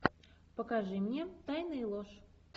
покажи мне тайны и ложь